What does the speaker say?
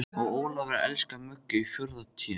Og Ólafur elskar Möggu í fjórða Té.